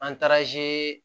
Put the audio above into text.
An taaraze